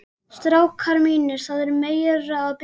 STRÁKAR MÍNIR, ÞAÐ ER MEIRA AÐ BERA.